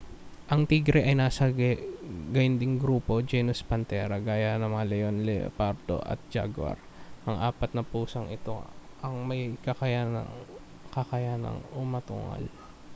ang tigre ay nasa gayunding grupo genus panthera gaya ng mga leon leopardo at jaguar. ang apat na pusang ito lang ang may kakayanang umatungal